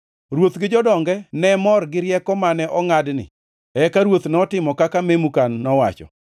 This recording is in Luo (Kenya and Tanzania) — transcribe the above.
Ruoth gi jodonge ne mor gi rieko mane ongʼadni, eka ruoth notimo kaka Memukan nowacho.